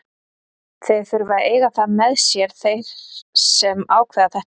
Þeir þurfa að eiga það með sér, þeir sem ákveða þetta.